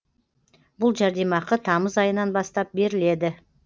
бұл жәрдемақы тамыз айынан бастап беріледі